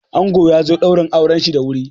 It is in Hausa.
Ango yazo ɗaurin auranshi da wuri.